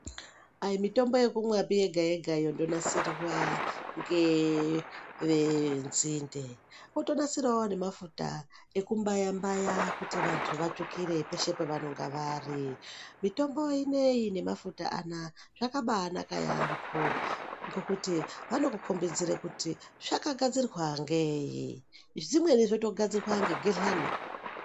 Ayi mitombo yokumwa yega yega pii yonasirwa ngevezindee otonasirawo nemafuta ekumbaya mbaya kuti vantu vatsvukire peshe pevanonga vari, mitombo inei nemafuta anaya zvakambaa naka yaemho ngokuti vanokukombidzire kuti zvakagadzirwa nei, zvimweni zvktogadzirwa ngeghedhlani.